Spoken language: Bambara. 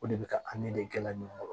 O de bɛ ka de kɛla ɲɔgɔn kɔrɔ